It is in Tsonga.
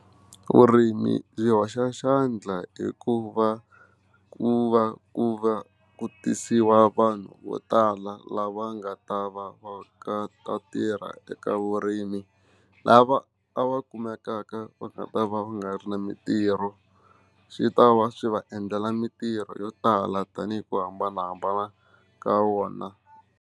Vurimi byi hoxa xandla hikuva ku va ku va ku tisiwa vanhu vo tala lava nga ta va va ka ta tirha eka vurimi lava a va kumekaka va nga ta va u nga ri na mintirho swi ta va swi va endlela mitirho yo tala tanihi ku hambanahambana ka wona.